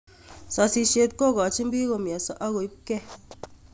Sosisheet kogochin piik komyoso ak koimkee